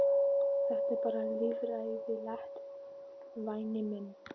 Þetta er bara líffræðilegt, væni minn.